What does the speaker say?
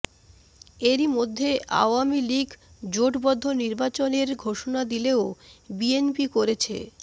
এরই মধ্যে আওয়ামী লীগ জোটবদ্ধ নির্বাচনের ঘোষণা দিলেও বিএনপি করেছে